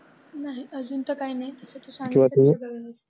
नाही अजून तर काही नाही.